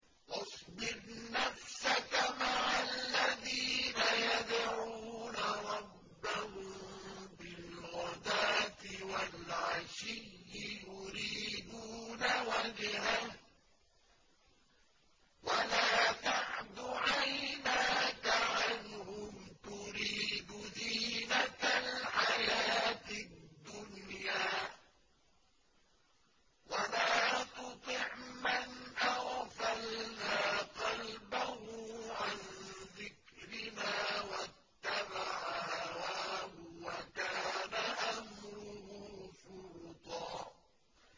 وَاصْبِرْ نَفْسَكَ مَعَ الَّذِينَ يَدْعُونَ رَبَّهُم بِالْغَدَاةِ وَالْعَشِيِّ يُرِيدُونَ وَجْهَهُ ۖ وَلَا تَعْدُ عَيْنَاكَ عَنْهُمْ تُرِيدُ زِينَةَ الْحَيَاةِ الدُّنْيَا ۖ وَلَا تُطِعْ مَنْ أَغْفَلْنَا قَلْبَهُ عَن ذِكْرِنَا وَاتَّبَعَ هَوَاهُ وَكَانَ أَمْرُهُ فُرُطًا